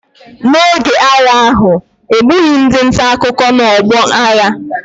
N’oge agha ahụ, e gbughị ndị nta akụkọ n’ọgbọ agha.